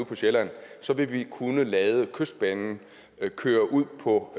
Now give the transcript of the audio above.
på sjælland vil vi kunne lade kystbanen køre ud på